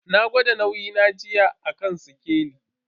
Na gwada nauyi na jiya a kan sikeli.